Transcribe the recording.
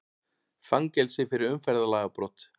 Fangelsi fyrir umferðarlagabrot